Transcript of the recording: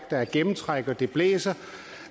er gennemtræk og det blæser